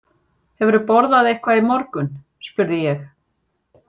Hefurðu borðað eitthvað í morgun? spurði ég.